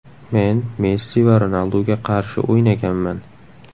Men Messi va Ronalduga qarshi o‘ynaganman.